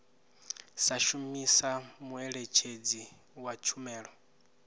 sa shumisa muṋetshedzi wa tshumelo